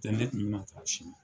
Tɛ ne kun mi ma taa Sini.